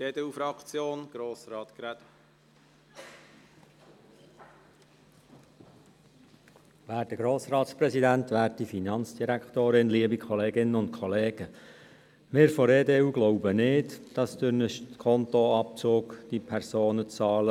Die EDU glaubt nicht, dass der Skontoabzug Personen, die bisher nicht rechtzeitig bezahlt haben, dazu bringt, rechtzeitig zu zahlen.